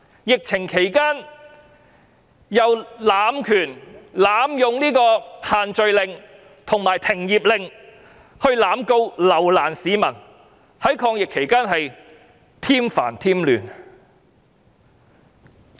疫情期間濫權，濫用"限聚令"和"停業令"來濫告及留難市民，在抗疫期間添煩添亂。